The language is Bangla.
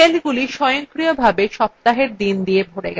সেলগুলি স্বয়ংক্রিয়ভাবে সপ্তাহের the দিয়ে ভরে গেছে